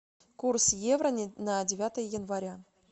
курс евро на девятое января